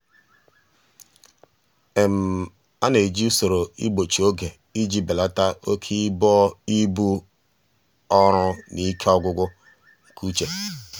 ọ na-eji usoro igbochi oge iji belata oke ibu ọrụ na ike ọgwụgwụ nke uche.